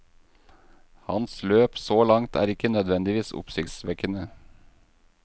Hans løp så langt er ikke nødvendigvis oppsiktsvekkende.